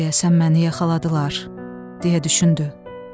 Deyəsən məni yaxaladılar, deyə düşündü.